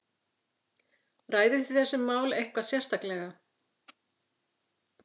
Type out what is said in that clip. Ræðið þið þessi mál eitthvað sérstaklega?